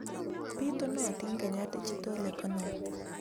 Bitunotin Kenya Digital Economy